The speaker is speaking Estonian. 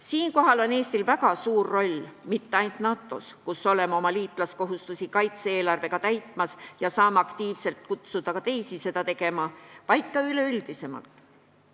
Siinkohal on Eestil väga suur roll mitte ainult NATO-s, kus oleme kaitse-eelarvega oma liitlaskohustusi täitmas ja saame aktiivselt kutsuda teisigi seda tegema, vaid ka üleüldisemalt.